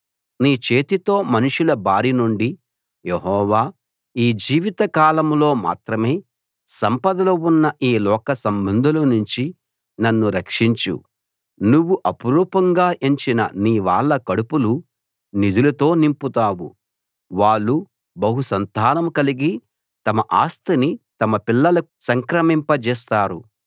నీ చేతితో మనుషుల బారినుండి యెహోవా ఈ జీవితకాలంలో మాత్రమే సంపదలు ఉన్న ఈ లోకసంబంధుల నుంచి నన్ను రక్షించు నువ్వు అపురూపంగా ఎంచిన నీ వాళ్ళ కడుపులు నిధులతో నింపుతావు వాళ్ళు బహుసంతానం కలిగి తమ ఆస్తిని తమ పిల్లలకు సంక్రమింపజేస్తారు